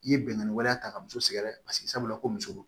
I ye bɛnkan waleya ta ka muso sɛgɛrɛ paseke sabula ko muso do